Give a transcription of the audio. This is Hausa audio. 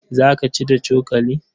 Za ka ci da cokali?